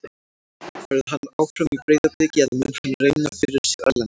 Verður hann áfram í Breiðabliki eða mun hann reyna fyrir sér erlendis?